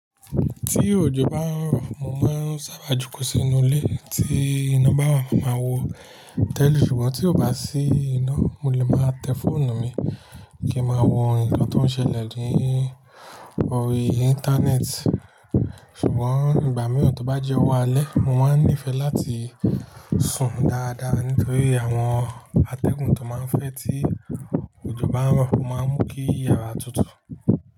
Tí òjò bá ń rọ̀, mo máa ń sábà jókòó sínú ilé. Tí iná bá wà, màá wo tẹ́lì, ṣùgbọ́n tí kò bá sí iná, mo lè máa tẹ fóònù mi kí n máa wo òǹkà tó ń ṣẹlẹ̀ lórí Íńtánẹ́ẹ̀tì. Ṣùgbọ́n ìgbà mìíràn tí ó bá jẹ́ ọ̀wọ́ alẹ́, mo máa ń nífẹ̀ẹ́ láti sùn dáadáa nítorí àwọn atẹ́gùn tó máa ń fẹ́ tí òjò bá ń rọ̀ máa ń mú kí yàrá tutù.